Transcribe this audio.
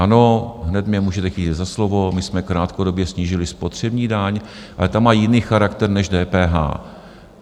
Ano, hned mě můžete chytit za slovo - my jsme krátkodobě snížili spotřební daň, ale ta má jiný charakter než DPH.